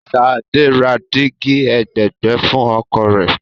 Ṣadé ra dígí ẹ̀gbẹ̀ẹ̀gbẹ́ fún ọkọ̀ rẹ̀.